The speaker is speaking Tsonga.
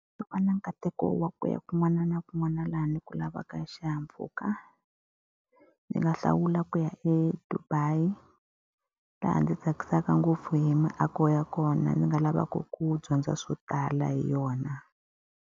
Loko no va na nkateko wa ku ya kun'wana na kun'wana laha ndzi ku lavaka xihahampfhuka, ndzi nga hlawula ku ya eDubai. Laha ndzi tsakisaka ngopfu hi miako ya kona, ni nga lavaka ku dyondza swo tala hi yona.